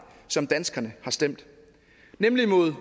som danskerne har stemt nemlig mod